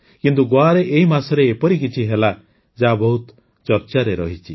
କିନ୍ତୁ ଗୋଆରେ ଏହି ମାସରେ ଏପରି କିଛି ହେଲା ଯାହା ବହୁତ ଚର୍ଚ୍ଚାରେ ରହିଛି